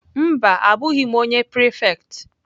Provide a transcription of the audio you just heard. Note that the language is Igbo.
Mba, abụghị m onye prefect.